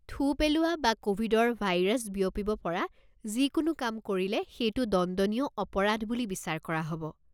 থু পেলোৱা বা ক'ভিডৰ ভাইৰাছ বিয়পিব পৰা যিকোনো কাম কৰিলে সেইটো দণ্ডনীয় অপৰাধ বুলি বিচাৰ কৰা হ'ব।